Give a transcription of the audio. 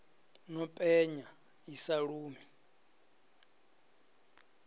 no penya i sa lumi